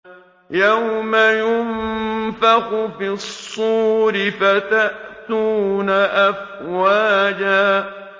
يَوْمَ يُنفَخُ فِي الصُّورِ فَتَأْتُونَ أَفْوَاجًا